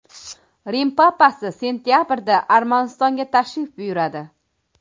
Rim papasi sentabrda Armanistonga tashrif buyuradi.